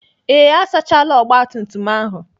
Ee, asachaala ọgbatumtum ahụ.